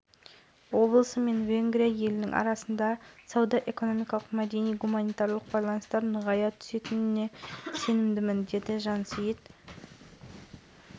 тарихқа көз жүгіртсек екі ұлт та кең далада тіршілік еткен сондықтан болар венгр тілінде түркі сөздері